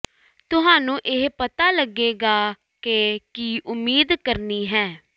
ਤੁਹਾਨੂੰ ਇਹ ਪਤਾ ਲਗੇਗਾ ਕਿ ਕੀ ਉਮੀਦ ਕਰਨੀ ਹੈ